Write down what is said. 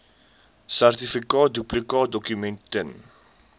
sertifikaat duplikaatdokument ten